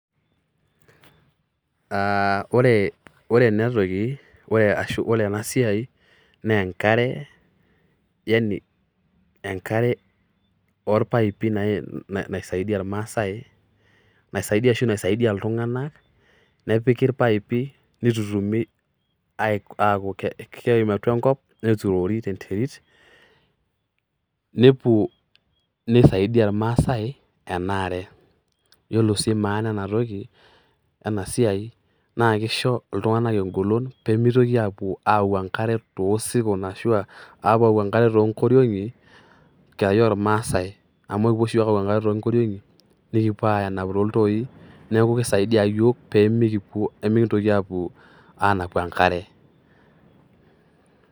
Are ore ena toki ashu ore ena ena siai naa enkare yani enkare oo paipi nisaidia ilmaasai naisadia iltunganak nepiki ilpaipi, nitutumi neeku keem atua enkop neturori tenterit. Nisaidia ilmaasai, ore sii maana ena siai naakisho iltunganak engolon pee mitoki pee mitoki aapuo aau enkare too sirkon, aapuo aau enkare too nkorionki enkerai ilmaasai amu kipuo oshi iyiook aau enkare too nkorionki nikipo anapu tooltoi neeku kisaidia iyiook pee mikintoki apuo anapu enkare.